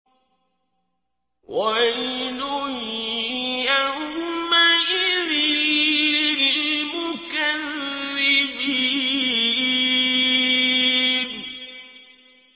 وَيْلٌ يَوْمَئِذٍ لِّلْمُكَذِّبِينَ